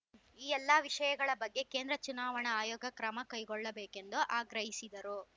ಈ ಎಲ್ಲ ವಿಷಯಗಳ ಬಗ್ಗೆ ಕೇಂದ್ರ ಚುನಾವಣಾ ಆಯೋಗ ಕ್ರಮ ಕೈಗೊಳ್ಳಬೇಕೆಂದು ಆಗ್ರಹಿಸಿದರು